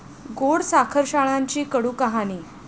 गोड साखरशाळांची कडू कहाणी!